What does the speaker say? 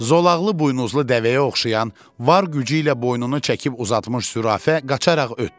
Zolaqlı buynuzlu dəvəyə oxşayan var gücü ilə boynunu çəkib uzatmış zürafə qaçaqaraq ötdü.